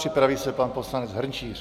Připraví se pan poslanec Hrnčíř.